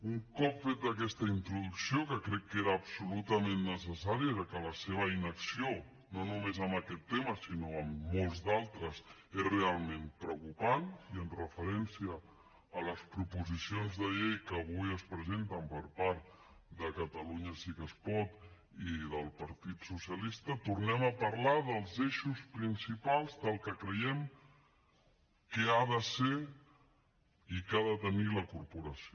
un cop feta aquesta introducció que crec que era absolutament necessària ja que la seva inacció no només en aquest tema sinó en molts d’altres és realment preocupant i amb referència a les proposicions de llei que avui es presenten per part de catalunya sí que es pot i del partit socialista tornem a parlar dels eixos principals del que creiem que ha de ser i que ha de tenir la corporació